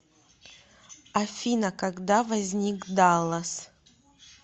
афина когда возник даллас